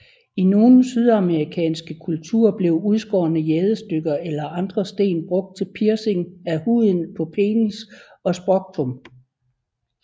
I nogle sydamerikanske kulturer blev udskårne jadestykker eller andre sten brugt til piercing af huden på penis og scrotum